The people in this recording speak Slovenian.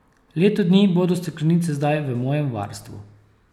Leto dni bodo steklenice zdaj v mojem varstvu.